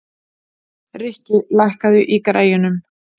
Rikki, lækkaðu í græjunum.